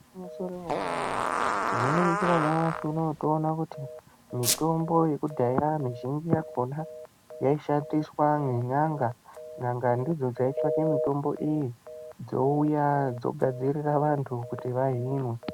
Gwinyiso remene-mene, tinoningira nyamashi unowu toona kuti mitombo yekudhaya mizhinji yakona, yaishandiswa nen'anga. N'anga ndidzo dzaitsvake mitombo iyi, dzouya dzogadzirira vantu kuti vahinwe.